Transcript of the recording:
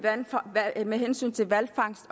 med hensyn til hvalfangst